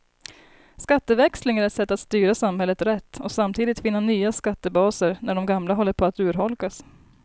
Skatteväxling är ett sätt att styra samhället rätt och samtidigt finna nya skattebaser när de gamla håller på att urholkas.